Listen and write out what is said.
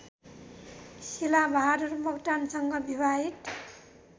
शिलाबहादुर मोक्तानसँग विवाहित